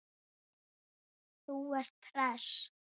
Þú ert hress!